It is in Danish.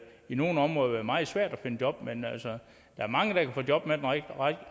i nogle områder være meget svært at finde job men altså der er mange der kan få job med den